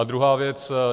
A druhá věc.